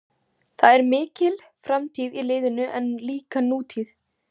Það er mikil framtíð í liðinu en líka nútíð.